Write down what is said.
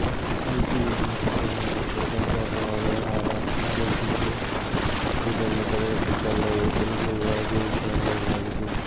IT unit ಹೆಸರಿನಲ್ಲಿ ಕೋಟ್ಯಾಂತರ ರೂ ಅವ್ಯವಹಾರ ನಡೆಯುತ್ತಿದ್ದು ಇದನ್ನು ತಡೆಗಟ್ಟಿದ್ದಲ್ಲದೆ ತನಿಖೆಗೂ ಆದೇಶ ನೀಡಲಾಗಿದೆ